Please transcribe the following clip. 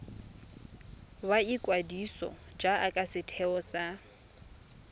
ya ikwadiso jaaka setheo sa